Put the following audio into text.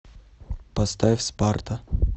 поставь спарта